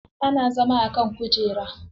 Ana zama a kan kujera.